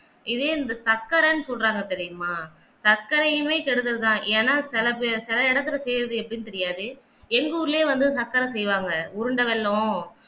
இது ஏன் சக்கர என்று சொல்றாங்க தெரியுமா சர்க்கரையை கெடுதல் தான் ஏன்னா சில பேர் சில இடத்தில் செய்றது எப்படின்னு தெரியாது எங்க ஊர்லயும் வந்து சக்கர செய்வாங்க உருண்ட வெல்லம்